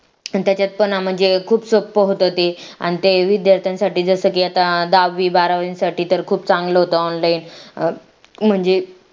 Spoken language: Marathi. त्याच्यात पण म्हणजे खूप सोपं होत ते अन ते विध्यार्थ्यांनसाठी जसं की आता दहावी बारावी साठी तर खूप चांगलं होतं online म्हणजे